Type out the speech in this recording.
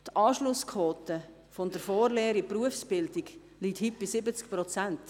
Die Anschlussquote von der Vorlehre in die Berufsbildung liegt heute bei 70 Prozent.